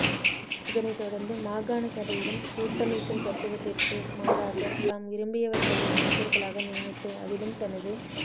இதனைத் தொடர்ந்து மாகாணசபையிலும் கூட்டமைப்பின் தத்துவத்திற்கு மாறாக தாம் விரும்பியவர்களை அமைச்சர்களாக நியமித்து அதிலும் தனது